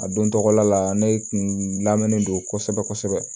A don tɔgɔla ne kun lamɛnnen don kosɛbɛ kosɛbɛ